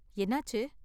என்னாச்சு?